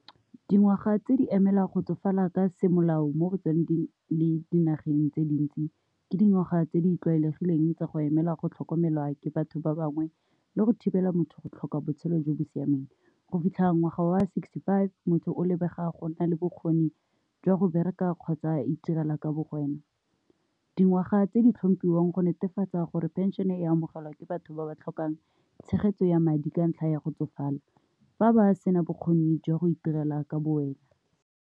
Dingwaga tse di emela go tsofala ka semolao mo go tsone di dinageng tse dintsi ke dingwaga tse di tlwaelegileng tsa go emela go tlhokomelwa ke batho ba bangwe le go thibela motho go tlhoka botshelo jo bo siameng. Go fitlha ngwaga wa sixty-five, motho o lebega go nna le bokgoni jwa go bereka kgotsa itirela ka bo wena. Dingwaga tse di tlhomphiwang go netefatsa gore pension-e e amogelwa ke batho ba ba tlhokang tshegetso ya madi ka ntlha ya go tsofala fa ba sena bokgoni jwa go itirela ka bo wena .